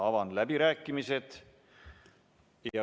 Avan läbirääkimised.